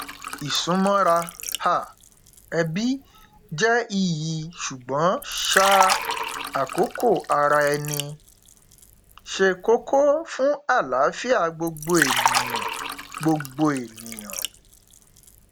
ìsúnmọra um ẹbí jẹ iyì ṣùgbọn um àkókò ara ẹni ṣe kókó fún àlààfíà gbogbo ènìyàn gbogbo ènìyàn